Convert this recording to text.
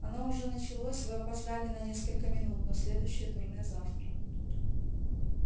оно уже началось вы опоздали на несколько минут но следующее турне завтра